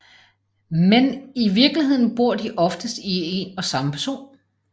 Men i virkeligheden bor de oftest i en og samme person